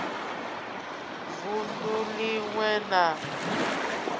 vund u lin we na